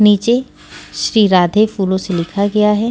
नीचे श्री राधे फूलों से लिखा गया है।